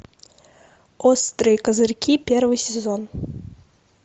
острые козырьки первый сезон